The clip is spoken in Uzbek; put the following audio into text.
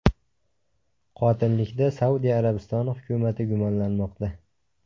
Qotillikda Saudiya Arabistoni hukumati gumonlanmoqda.